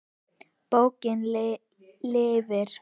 Bókin lifir.